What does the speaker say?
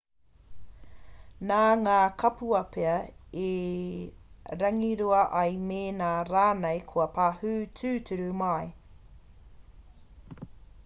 nā ngā kapua pea i rangirua ai mēnā rānei kua pahū tūturu mai